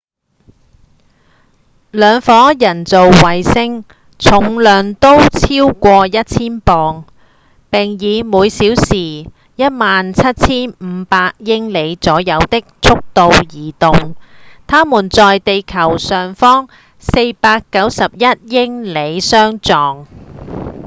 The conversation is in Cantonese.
兩顆人造衛星重量都超過一千磅並以每小時 17,500 英里左右的速度移動它們在地球上方491英里處相撞